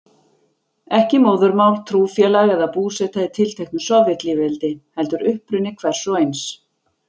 Ekki móðurmál, trúfélag eða búseta í tilteknu Sovétlýðveldi, heldur uppruni hvers og eins.